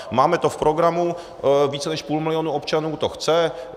Máme to v programu, více než půl milionu občanů to chce.